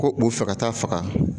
Ko u fɛ ka taa faga